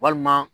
Walima